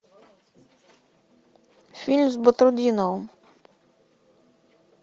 фильм с батрутдиновым